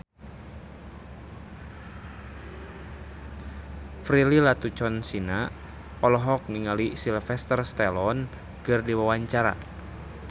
Prilly Latuconsina olohok ningali Sylvester Stallone keur diwawancara